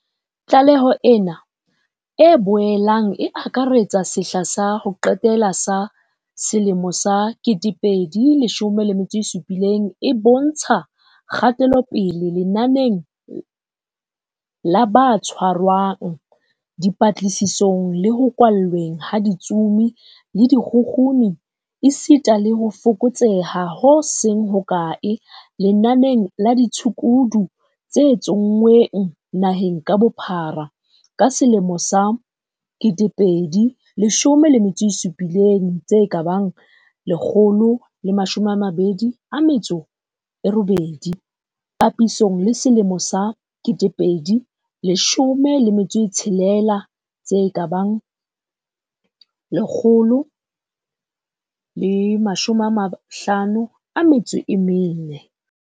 Tlaleho ena, e boelang e akaretsa sehla sa ho qetela sa 2017, e bontsha kgatelopele lenaneng la ba tshwarwang, dipatlisisong le ho kwallweng ha ditsomi le dikgukguni. Esita le ho fokotseha ho seng hokae lenaneng la ditshukudu tse tso nngweng naheng ka bophara ka 2017 1028, papisong le 2016 1054.